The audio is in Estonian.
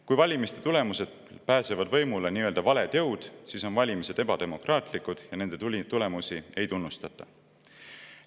Kui valimiste tulemusel pääsevad võimule nii-öelda valed jõud, siis on valimised ebademokraatlikud ja nende tulemusi ei tunnustata.